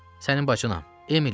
Sənin bacınam, Emiliyəm.